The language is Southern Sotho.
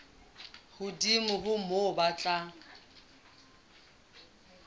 hodimo ho moo ba tla